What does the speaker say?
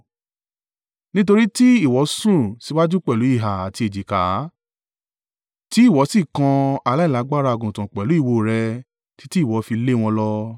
Nítorí ti ìwọ sún síwájú pẹ̀lú ìhà àti èjìká, tí ìwọ sì kan aláìlágbára àgùntàn pẹ̀lú ìwo rẹ títí ìwọ fi lé wọn lọ,